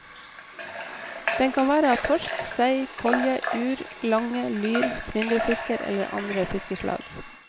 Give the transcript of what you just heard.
Den kan være av torsk, sei, kolje, uer, lange, lyr, flyndrefisker eller andre fiskeslag.